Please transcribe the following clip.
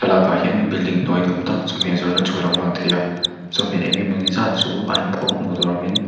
thlalâkah hian building hnuai ni âwm tak chawhmeh zawrhna chu a lo lang thei a chawhmeh eng emaw ni zât chu a inpho hmuh tûr awmin--